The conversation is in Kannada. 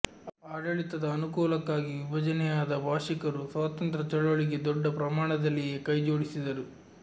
ಆಡಳಿತದ ಅನುಕೂಲಕ್ಕಾಗಿ ವಿಭಜನೆಯಾದ ಭಾಷಿಕರೂ ಸ್ವಾತಂತ್ರ್ಯ ಚಳವಳಿಗೆ ದೊಡ್ಡ ಪ್ರಮಾಣದಲ್ಲಿಯೇ ಕೈ ಜೋಡಿಸಿದರು